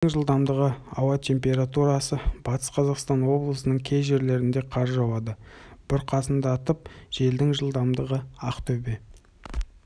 желдің жылдамдығы ауа температурасы батыс қзақастан облысының кей жерлерінде қар жауады бұрқасындатып желдің жылдамдығы ақтөбе